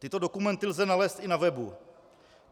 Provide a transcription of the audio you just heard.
Tyto dokumenty lze nalézt i na webu.